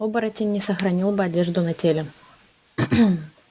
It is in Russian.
оборотень не сохранил бы одежду на теле